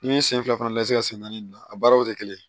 I bɛ sen fila fana lajɛ sen naani a baaraw tɛ kelen ye